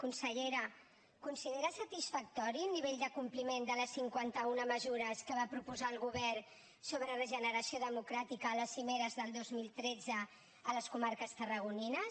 consellera considera satisfactori el nivell de compliment de les cinquanta una mesures que va proposar el govern sobre regeneració democràtica a les cimeres del dos mil tretze a les comarques tarragonines